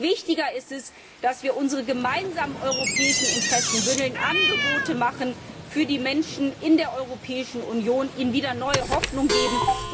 Umso wichtiger ist es, dass wir unsere gemeinsamen europäischen Interessen bündeln, Angebote machen für die Menschen in der Europäischen Union, ihnen wieder neue Hoffnung geben.